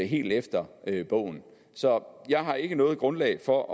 helt efter bogen så jeg har ikke noget grundlag for